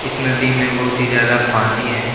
इस नदी में बहुत ही ज्यादा पानी है।